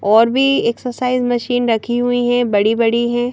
और भी exercise machine रखी हुई हैं बड़ी-बड़ी हैं।